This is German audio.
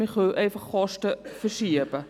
wir können einfach Kosten verschieben.